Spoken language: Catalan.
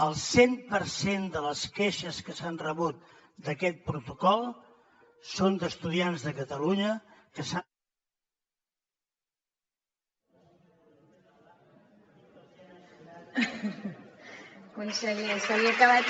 el cent per cent de les queixes que s’han rebut d’aquest protocol són d’estu diants de catalunya que s’han